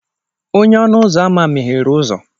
Onye-ọnu-uzọ-ama meghere uzọ.